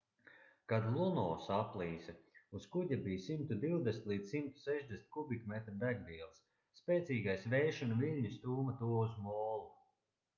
kad luno saplīsa uz kuģa bija 120-160 kubikmetri degvielas spēcīgais vējš un viļņi stūma to uz molu